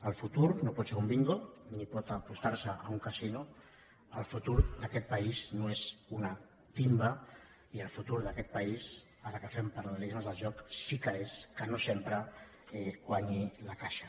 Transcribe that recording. el futur no pot ser un bingo ni pot apostar se a un casino el futur d’aquest país no és una timba i el futur d’aquest país ara que fem paral·sí que és que no sempre guanyi la caixa